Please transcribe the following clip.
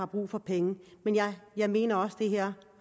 brug for penge men jeg jeg mener også det her